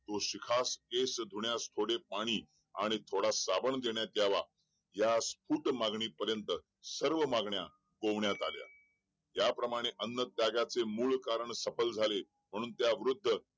शिखास केस धुण्यास थोडे पाणी आणि थोडा साबण देण्यात यावा या कूड मागणी पर्यंत सगळ्या मागण्या रोवण्यात आल्या त्या प्रमाणे अन्न त्यागाचे मूळ कारण सफल झाले म्हणून त्या वृद्ध